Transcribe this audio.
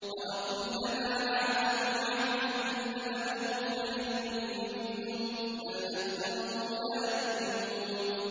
أَوَكُلَّمَا عَاهَدُوا عَهْدًا نَّبَذَهُ فَرِيقٌ مِّنْهُم ۚ بَلْ أَكْثَرُهُمْ لَا يُؤْمِنُونَ